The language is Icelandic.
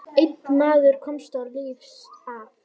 Einn maður komst lífs af.